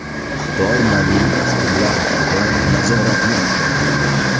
Xitoy mobil dasturlar ustidan nazoratni kuchaytiradi.